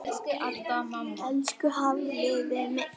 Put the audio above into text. Elsku Hafliði minn.